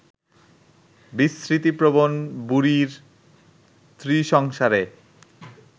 বিস্মৃতিপ্রবণ বুড়ির ত্রিসংসারে